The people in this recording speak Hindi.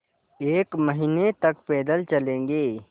एक महीने तक पैदल चलेंगे